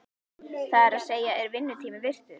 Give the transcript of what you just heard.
Það er að segja, er vinnutími virtur?